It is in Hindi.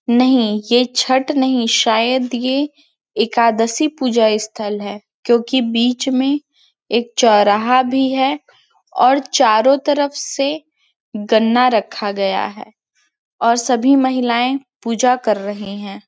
नहीं ये छठ नहीं शायद ये एकादशी पूजा स्थल है क्युकी बीच में एक चौराहा भी है और चारो तरफ से गन्ना रखा गया है और सब भी महिलाए पूजा कर रहे है।